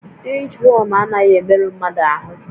Inchwọm anaghị emerụ mmadụ ahụ